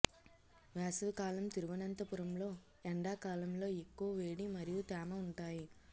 వేసవి కాలం తిరువంతపురం లో ఎండాకాలం లో ఎక్కువ వేడి మరియు తేమ ఉంటాయి